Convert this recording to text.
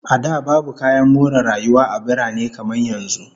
A da, babu kayan more rayuwa a birane kamar yanzu